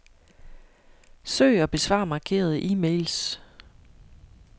Søg og besvar markerede e-mails.